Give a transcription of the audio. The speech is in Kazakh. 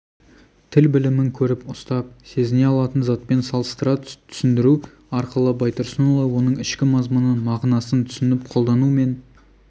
тіл білімін көріп ұстап сезіне алатын затпен салыстыра түсіндіру арқылы байтұрсынұлы оның ішкі мазмұнын мағынасын түсініп қолдану мен